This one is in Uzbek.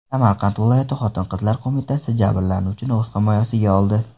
Samarqand viloyati xotin-qizlar qo‘mitasi jabrlanuvchini o‘z himoyasiga oldi .